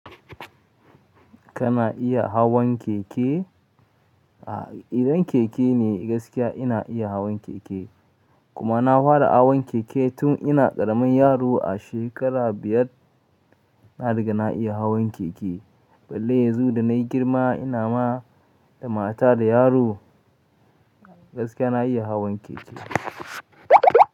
Kana iya hawan keke? A idan keke ne gaskiya ina iya hawan keke. Kuma na fara hawan keke tun ina ƙaramin yaro a shekara biyar. Na riga na iya hawan keke. Bellai yanzu da na yi girma ina ma da mata da yaro, gaskiya na iya hawan keke.